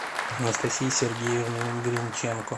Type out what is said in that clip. анастасией сергеевной гринченко